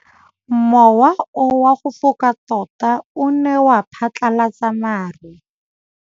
Mowa o wa go foka tota o ne wa phatlalatsa maru.